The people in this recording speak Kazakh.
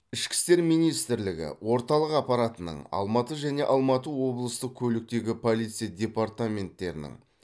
ішкі істер министрлігі орталық аппаратының алматы және алматы облыстық көліктегі полиция департаменттерінің